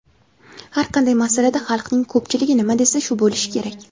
"Har qanday masalada xalqning ko‘pchiligi nima desa shu bo‘lishi kerak".